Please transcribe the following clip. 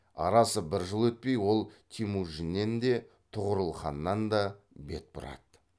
арасы бір жыл өтпей ол темужиннен де тұғырыл ханнан да бет бұрады